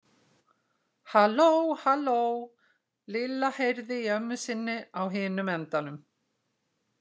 Halló, halló Lilla heyrði í ömmu sinni á hinum endanum.